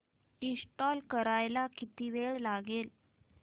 install करायला किती वेळ लागेल